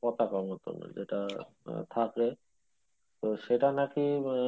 পতাকার মতন যেটা আহ থাকে তো সেটা নাকি মানে